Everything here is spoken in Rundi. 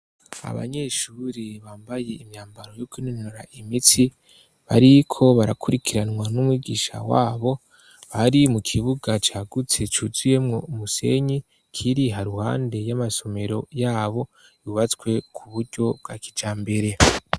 Abanyeshuri bambaye imyambaro yo kwinonora imitsi, bariko barakurikiranwa n'umwigisha wabo, bari mu kibuga cagutse, cuzuyemwo umusenyi, kiri haruhande y'amasomero yabo, yubatswe ku buryo bwa kijambere.